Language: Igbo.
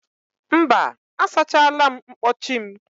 Mba, asachala mkpọchi m.